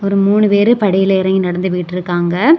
ஒரு மூணு பேரு படியிலெ எறங்கி நடந்து போயிட்டிருக்காங்க.